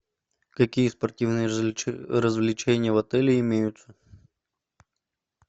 какие спортивные развлечения в отеле имеются